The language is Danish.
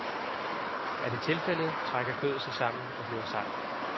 Er det tilfældet, trækker kødet sig sammen og bliver sejt.